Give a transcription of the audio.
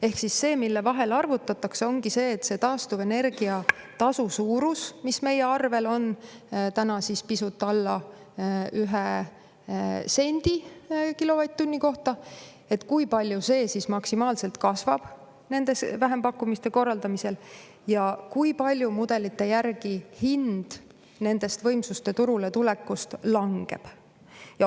Ehk siis see, mida arvutatakse, ongi see, kui palju see taastuvenergia tasu, mis meie arvetel on täna pisut alla ühe 1 sendi kilovatt-tunni kohta, maksimaalselt kasvab nende vähempakkumiste korraldamisel ja kui palju mudelite järgi hind nendest võimsuste turule tulekust langeb.